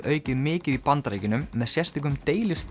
aukið mikið í Bandaríkjunum með sérstökum